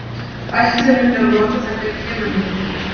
Ætlunin er að nota þær við genalækningar.